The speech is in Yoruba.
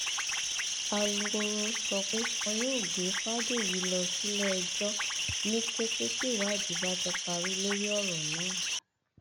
alūkkoro sọ pé wọn yóò gbé fàdèyí lọ síléẹjọ ni kété tíwádìí bá ti parí lórí ọrọ náà